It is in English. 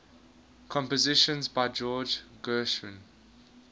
compositions by george gershwin